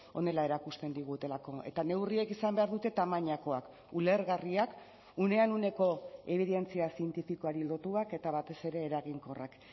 honela erakusten digutelako eta neurriek izan behar dute tamainakoak ulergarriak unean uneko ebidentzia zientifikoari lotuak eta batez ere eraginkorrak